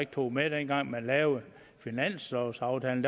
tog med ind dengang man lavede finanslovaftalen